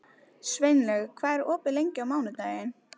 Sveinlaug, hvað er opið lengi á mánudaginn?